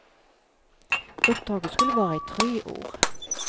Uppdraget skulle vara i tre år.